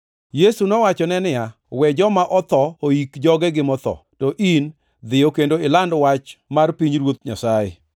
Yesu nowachone niya, “We joma otho oik jogegi motho, to in dhiyo kendo iland wach mar pinyruoth Nyasaye.”